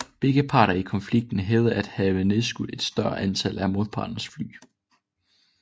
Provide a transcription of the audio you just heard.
Begge parter i konflikten hævdede at have nedskudt et større antal af modpartens fly